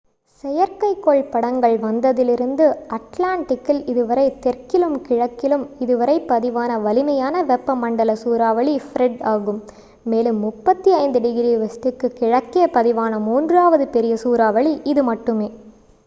செயற்கைக்கோள் படங்கள் வந்ததிலிருந்து அட்லாண்டிக்கில் இதுவரை தெற்கிலும் கிழக்கிலும் இதுவரை பதிவான வலிமையான வெப்பமண்டல சூறாவளி ஃப்ரெட் ஆகும் மேலும் 35 ° w க்கு கிழக்கே பதிவான மூன்றாவது பெரிய சூறாவளி இது மட்டுமே